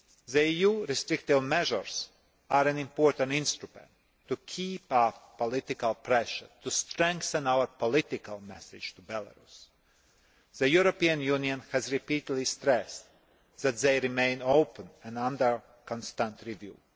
The EU restrictive measures are an important instrument to keep up political pressure, to strengthen our political message to Belarus. The European Union has repeatedly stressed that they remain open and under constant review.